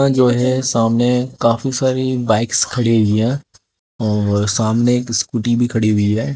यहां जो है सामने काफी सारी बाइक्स खड़ी हुई है और सामने एक स्कूटी भी खड़ी हुई है।